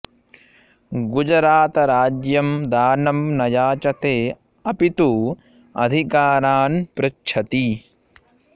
गुजरातराज्यं दानं न याचते अपि तु अधिकारान् पृच्छति